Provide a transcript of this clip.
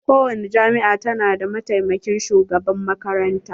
Ko wani jami'a ta na da mataimakin shugaban makaranta.